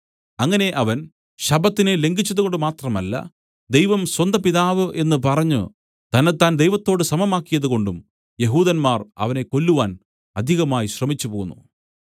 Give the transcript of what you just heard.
അങ്ങനെ അവൻ ശബ്ബത്തിനെ ലംഘിച്ചതുകൊണ്ടു മാത്രമല്ല ദൈവം സ്വന്തപിതാവ് എന്നു പറഞ്ഞു തന്നെത്താൻ ദൈവത്തോടു സമമാക്കിയതുകൊണ്ടും യെഹൂദന്മാർ അവനെ കൊല്ലുവാൻ അധികമായി ശ്രമിച്ചു പോന്നു